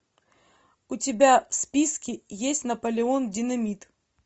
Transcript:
у тебя в списке есть наполеон динамит